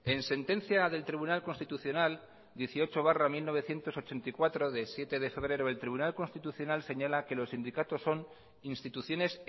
en sentencia del tribunal constitucional dieciocho barra mil novecientos ochenta y cuatro de siete de febrero el tribunal constitucional señala que los sindicatos son instituciones